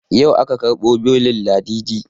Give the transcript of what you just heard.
Yau aka ƙarbo belin ladidi